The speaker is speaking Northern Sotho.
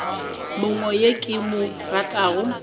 mongwe yo ke mo ratago